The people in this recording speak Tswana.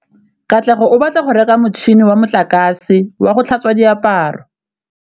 Katlego o batla go reka motšhine wa motlakase wa go tlhatswa diaparo.